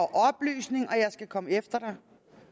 oplysninger og jeg skal komme efter dig